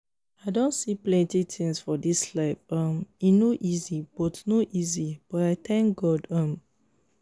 i don see plenty things for this life um e no easy but no easy but i thank god um